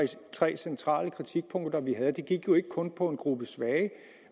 tre centrale kritikpunkter vi havde det gik ikke kun på en gruppe svage